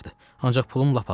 Ancaq pulum lap azdır.